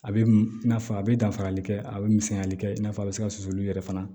A bɛ i n'a fɔ a bɛ danfarali kɛ a bɛ misɛnyali kɛ i n'a fɔ a bɛ se ka susuli yɛrɛ fana